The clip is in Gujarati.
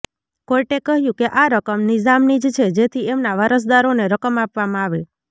કોર્ટે કહ્યું કે આ રકમ નિઝામની જ છે જેથી એમના વારસદારોને રકમ આપવામાં આવે